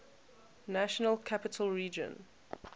national capital region